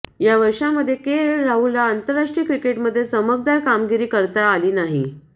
या वर्षामध्ये केएल राहुलला आंतरराष्ट्रीय क्रिकेटमध्ये चमकदार कामगिरी करता आली नाही